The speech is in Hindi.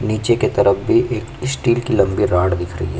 नीचे की तरफ भी एक स्टील की लंबी रोड दिख रही है।